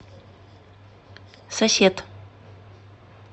сосед